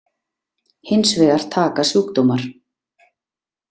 Hins vegar taka sjúkdómar.